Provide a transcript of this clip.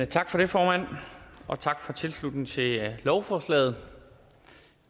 tak for det formand og tak for tilslutningen til lovforslaget